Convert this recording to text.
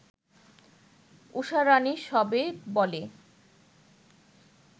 ঊষারাণী সবে বলে